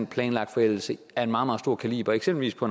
planlagt forældelse af en meget meget stor kaliber eksempelvis på